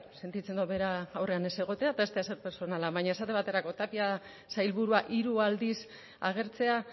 sentitzen dut bera aurrean ez egotea eta ez da ezer pertsonala baina esate baterako sailburua hiru aldiz agertzea